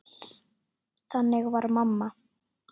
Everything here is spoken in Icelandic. Þannig var mamma.